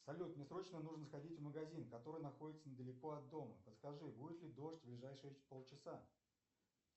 салют мне срочно нужно сходить в магазин который находится недалеко от дома подскажи будет ли дождь в ближайшие полчаса